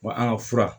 Wa an ka fura